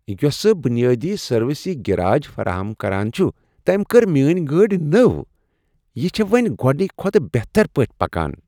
یۄسہٕ بنیٲدی سروس یہ گراج فراہم چھ کران، تٔمۍ کٔر میٲنۍ گٲڑۍ نٔو، یہ چھےٚ وۄنۍ گۄڑنکہ کھۄتہٕ بہترپٲٹھۍ پکان۔